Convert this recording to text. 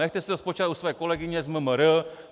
Nechte si to spočítat u své kolegyně z MMR.